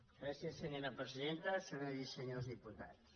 gràcies senyora presidenta senyores i senyors diputats